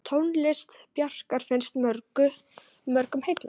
Tónlist Bjarkar finnst mörgum heillandi.